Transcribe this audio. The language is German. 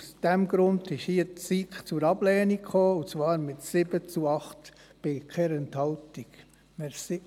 Aus diesem Grund ist hier die SiK zur Ablehnung gekommen und zwar mit 7 zu 8 Stimmen bei 0 Enthaltungen.